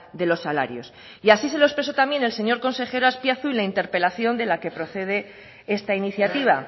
de los salarios y así se lo expresó también el señor consejero azpiazu en la interpelación de la que procede esta iniciativa